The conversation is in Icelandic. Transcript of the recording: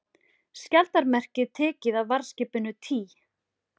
Skjaldarmerkið tekið af varðskipinu Tý